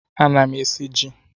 Ana m esi ji.